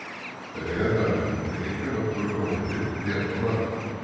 Þeir eiga þar af leiðandi enga náttúrulega óvini nema manninn.